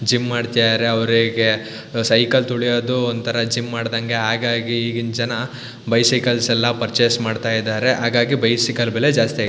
gym ಮಾಡ್ತಿದಾರೆ ಅವ್ರಿಗೆ ಅ ಸೈಕಲ್ ತುಳಿಯೋದು ಒಂತರ ಜಿಮ್ ಮಾಡ್ದಂಗೆ ಆಗಾಗಿ ಈಗಿನ್ ಜನ ಬೈಸೈಕಲ್ಸ್ ಎಲ್ಲಾ ಪರ್ಚೆಸ್ ಮಾಡತ್ತಾ ಇದಾರೆ ಆಗಾಗಿ ಬೈಸೈಕಲ್ ಬೆಲೆ ಜಾಸ್ತಿ ಆಗಿ --